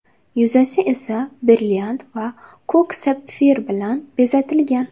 yuzasi esa brilliant va ko‘k sapfir bilan bezatilgan.